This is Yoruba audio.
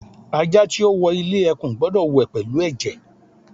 Aja ti o wọ ile ekun gbọdọ wẹ pẹlu ẹjẹ